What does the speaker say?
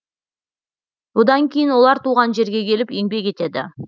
одан кейін олар туған жерге келіп еңбек етеді